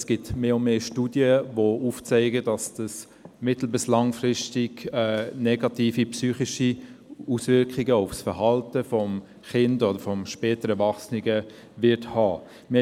Es gibt mehr und mehr Studien, die aufzeigen, dass dies mittel- bis langfristig negative psychische Auswirkungen auf das Verhalten des Kindes oder des späteren Erwachsenen haben wird.